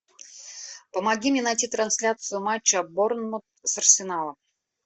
помоги мне найти трансляцию матча борнмут с арсеналом